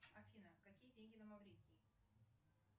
афина какие деньги на маврикии